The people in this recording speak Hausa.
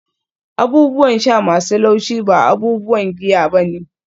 abubuwan sha masu laushi ba abubuwan giya ba ne